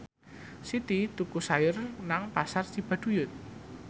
Siti tuku sayur nang Pasar Cibaduyut